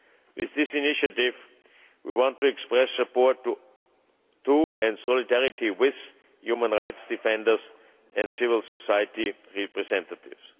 With this initiative we want to express support to, and solidarity with, human rights defenders and civil society representatives.